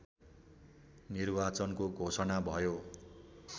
निर्वाचनको घोषणा भयो